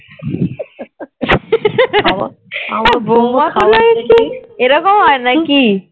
বৌমা গুলোই কি এরকম হয় নাকি,